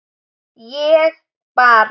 ég bara